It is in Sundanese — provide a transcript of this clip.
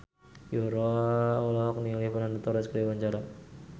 Yura olohok ningali Fernando Torres keur diwawancara